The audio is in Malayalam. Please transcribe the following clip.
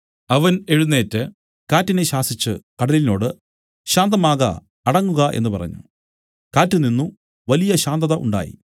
അവൻ എഴുന്നേറ്റ് കാറ്റിനെ ശാസിച്ചു കടലിനോട് ശാന്തമാക അടങ്ങുക എന്നു പറഞ്ഞു കാറ്റ് നിന്നു വലിയ ശാന്തത ഉണ്ടായി